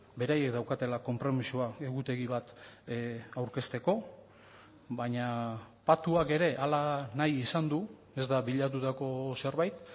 beraiek daukatela konpromisoa egutegi bat aurkezteko baina patuak ere hala nahi izan du ez da bilatutako zerbait